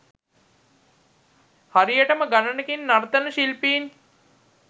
හරියටම ගණනින් නර්තන ශිල්පීන්